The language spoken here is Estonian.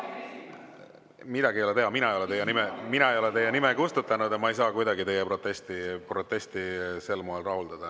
Midagi ei ole teha, mina ei ole teie nime kustutanud ja ma ei saa kuidagi teie protesti sel moel rahuldada.